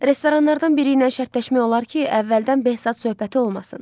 Restoranlardan biri ilə şərtləşmək olar ki, əvvəldən bəhsat söhbəti olmasın.